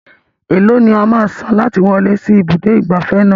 Eèló ni a máa san láti wọlé sí ibùdó ìgbafẹ́ náà?